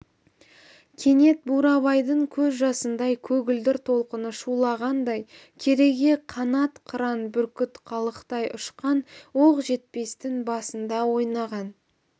кенет бурабайдың көз жасындай көгілдір толқыны шулағандай кереге қанат қыран бүркіт қалықтай ұшқан оқжетпестің басында ойнаған